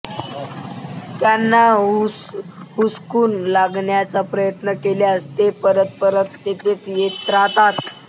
त्याना हुसकून लावण्याचा प्रयत्न केल्यास ते परत परत तेथेच येत राहतात